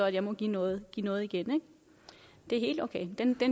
at de må give noget noget igen det er helt okay den